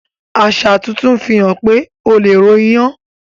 aṣa tuntun fihàn pé ọ lẹ ro iyán